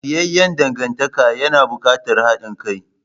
Lafiyayyan dangantaka yana buƙatar haɗin kai.